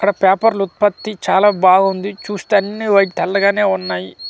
ఇక్కడ పేపర్ల ఉత్పత్తి చాలా బాగుంది చూస్తే అన్నీ వైట్ తెల్లగానే ఉన్నాయి .